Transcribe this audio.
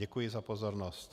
Děkuji za pozornost.